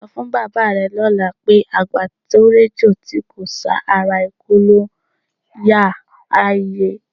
Sọ fún bàbá rẹ lọ́la pé, "àgbà tó réjò tí kò sá, ara ikú ló ń yáa", á yé e.